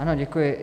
Ano, děkuji.